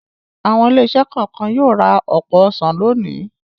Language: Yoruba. Àwọn ilé-iṣẹ́ kọ̀ọ̀kan yóò ra ọ̀pọ̀ ọsàn lónìí.